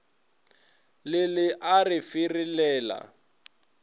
le le a re ferelela